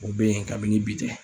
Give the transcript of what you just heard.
O bɛ yen kabini bi tɛ.